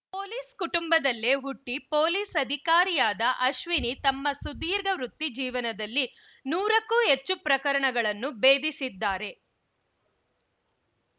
police ಕುಟುಂಬದಲ್ಲೇ ಹುಟ್ಟಿಪೊಲೀಸ್‌ ಅಧಿಕಾರಿಯಾದ ಅಶ್ವಿನಿ ತಮ್ಮ ಸುದೀರ್ಘ ವೃತ್ತಿ ಜೀವನದಲ್ಲಿ ನೂರಕ್ಕೂ ಹೆಚ್ಚು ಪ್ರಕರಣಗಳನ್ನ ಬೇಧಿಸಿದ್ದಾರೆ